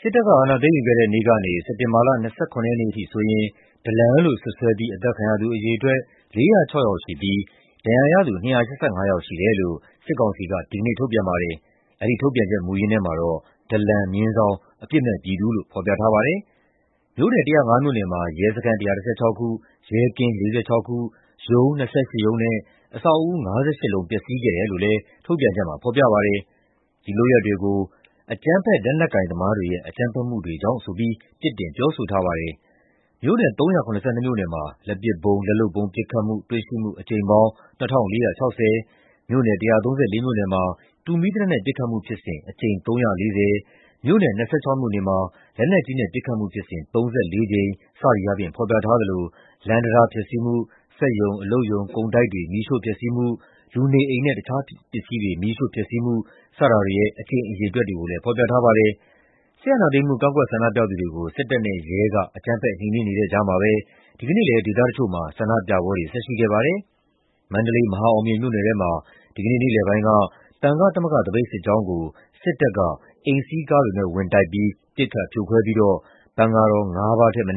စစ်တပ်အာဏာသိမ်းယူခဲ့တဲ့နေ့ကနေ စက်တင်ဘာလ ၂၇ ရက်နေ့အထိဆိုရင် ဒလန်လို့ စွပ်စွဲပြီး အသတ်ခံရသူ အရေအတွက် ၄၀၆ ယောက်ရှိပြီး ဒဏ်ရာရသူ ၂၈၅ ယောက်ရှိတယ်လို့ စစ်ကောင်စီက ဒီကနေ့ ထုတ်ပြန်ပါတယ်။ အဲဒီထုတ်ပြန်ချက်ထဲမှာတော့ ဒလန်/အပြစ်မဲ့ပြည်သူလို့ ဖော်ပြထားပါတယ်။ မြို့နယ် ၁၀၅ မြို့နယ်မှာ ရဲစခန်း ၁၁၆ ခု၊ ရဲကင်း ၄၆ ခု၊ ရုံး ၂၈ ခုနဲ့ အဆောက်အဦး ၅၈ လုံး ပျက်စီးခဲ့တယ်လို့လည်း ထုတ်ပြန်ချက်မှာ ဖော်ပြပါတယ်။ ဒီလုပ်ရပ်တွေကို "အကြမ်းဖက် လက်နက်ကိုင်သမားတွေရဲ့ အကြမ်းဖက်မှုတွေကြောင့်" ဆိုပြီး ပြစ်တင် ပြောဆိုထားပါတယ်။ မြို့နယ် ၃၇၂ မြို့နယ်မှာ လက်ပစ်ဗုံး/လက်လုပ်ဗုံး ပစ်ခတ်မှု၊ တွေ့ရှိမှု အကြိမ်ပေါင်း ၂,၄၆၀၊ မြို့နယ် ၁၃၄ မြို့နယ်မှာ တူမီးသေနတ်နဲ့ ပစ်ခတ်မှုဖြစ်စဉ် အကြိမ် ၃၄၀၊ မြို့နယ် ၂၆ မြို့နယ်မှာ လက်နက်ကြီးနဲ့ ပစ်ခတ်မှုဖြစ်စဉ် ၃၄ ကြိမ် စသည်အားဖြင့် ဖော်ပြထားသလို လမ်းတံတား ဖျက်ဆီးမှု၊ စက်ရုံအလုပ်ရုံ၊ ကုန်တိုက်တွေ မီးရှို့ဖျက်ဆီးမှု၊ လူနေအိမ်နဲ့ တခြားပစ္စည်းတွေ မီးရှို့ဖျက်ဆီးမှု စတာတွေရဲ့ အကြိမ်အရေအတွက်တွေကိုလည်း ဖော်ပြထားပါတယ်။ စစ်အာဏာသိမ်းမှု ကန့်ကွက်ဆန္ဒပြသူတွေကို စစ်တပ်နဲ့ရဲက အကြမ်းဖက် နှိမ်နင်းနေတဲ့ကြားမှာပဲ ဒီကနေ့လည်း ဒေသတချို့မှာ ဆန္ဒပြပွဲတွေ ဆက်ရှိခဲ့ပါတယ်။ မန္တလေး၊ မဟာအောင်မြေမြို့နယ်ထဲမှာ ဒီကနေ့ နေ့လယ်ပိုင်းက သံဃသမဂ္ဂ သပိတ်စစ်ကြောင်းကို စစ်တပ်က အိမ်စီးကားတွေနဲ့ ဝင်တိုက်ပြီး ပစ်ခတ်ဖြိုခွဲပြီးတော့ သံဃာတော်တချို့ အ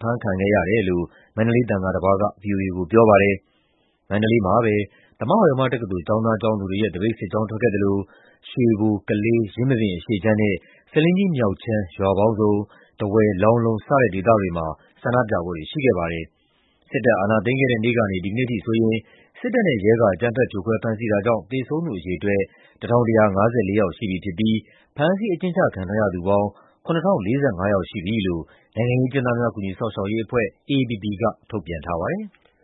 ဖမ်းခံခဲ့ရတယ်လို့ ပြည်တွင်းကလာတဲ့ သတင်းတွေမှာ ဖော်ပြထားပါတယ်။ မန္တလေးမှာပဲ သမဝါယမတက္ကသိုလ် ကျောင်းသားကျောင်းသူတွေရဲ့ သပိတ်စစ်ကြောင်း ထွက်ခဲ့သလို ရွှေဘို၊ ကလေး၊ ယင်းမာပင်အရှေ့ခြမ်းနဲ့ ဆားလင်းကြီးမြောက်ခြမ်း ရွာပေါင်းစုံ၊ ထားဝယ်၊ လောင်းလုံး စတဲ့ဒေသတွေမှာ ဆန္ဒပြပွဲတွေ ရှိခဲ့ပါတယ်။ စစ်တပ်အာဏာသိမ်းခဲ့တဲ့နေ့ကနေ ဒီနေ့အထိဆိုရင် စစ်တပ်နဲ့ရဲက အကြမ်းဖက် ဖြိုခွဲ ဖမ်းဆီးတာကြောင့် သေဆုံးသူအရေအတွက် ၁,၁၅၄ ယောက်ရှိပြီဖြစ်ပြီး ဖမ်းဆီး အကျဉ်းချခံထားရသူပေါင်း ၇,၀၄၅ ယောက်ရှိပြီလို့ နိုင်ငံရေးအကျဉ်းသားများ ကူညီစောင့်ရှောက်ရေးအဖွဲ့ (AAPP) က ထုတ်ပြန်ထားပါတယ်။